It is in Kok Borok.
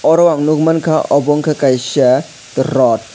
aro ang nugmanka obo unke kaisa rot.